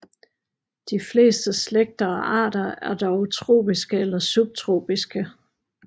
De fleste slægter og arter er dog tropiske eller subtropiske